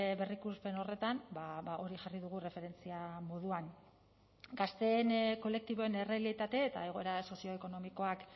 berrikuspen horretan hori jarri dugu erreferentzia moduan gazteen kolektiboen errealitate eta egoera sozioekonomikoak